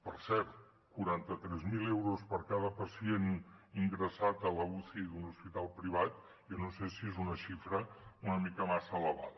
per cert quaranta tres mil euros per cada pacient ingressat a l’uci d’un hospital privat jo no sé si és una xifra una mica massa elevada